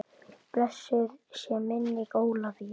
Blessuð sé minning Ólafíu.